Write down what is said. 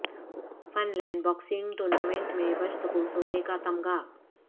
fun land boxing tournament میں بشت کو سونے کا تمغہ